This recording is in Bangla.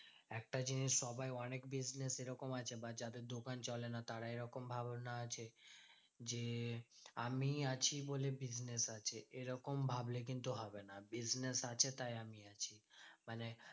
একটা জিনিস সবাই অনেক business এরকম আছে বা যাদের দোকান চলে না, তারা এরকম ধারণা আছে, যে আমি আছি বলে business আছে। এরকম ভাবলে কিন্তু হবে না, business আছে তাই আমি আছি। মানে